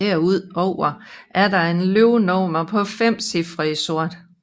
Derudover er der et løbenummer på 5 cifre i sort